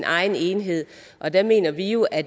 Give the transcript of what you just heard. egen enhed og der mener vi jo at